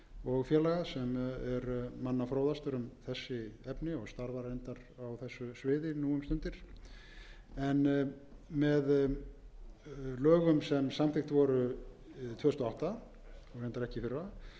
og félaga sem er manna fróðastur um þessi efni og starfar reyndar á þessu sviði nú um stundir með lögum númer hundrað sjötíu og fimm tvö þúsund og átta um breyting á lögum númer tuttugu og níu nítján hundruð níutíu og þrjú var heimilað að